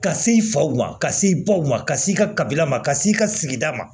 Ka s'i faw ma ka se baw ma ka s'i ka kabila ma ka s'i ka sigida ma